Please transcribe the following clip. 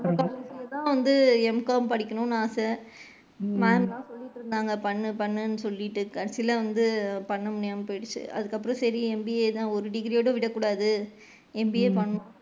நம்ம college லயே தான் MCOM படிக்கனும்ன்னு ஆச ma'am தான் சொல்லிட்டு இருந்தாங்க பண்ணு பண்ணுன்னு சொல்லிட்டு கடைசில வந்து பண்ண முடியாம போயிடுச்சு அதுக்கு அப்பறம் சரி MBA தான் ஒரு degree யோட விட கூடாது MBA பன்,